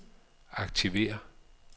aktiver